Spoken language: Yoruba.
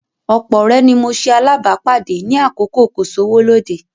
Ọ̀pọ̀ ọ̀rẹ́ ni mo ṣe alábàápàdé ní àkókò kò-sówó-lóde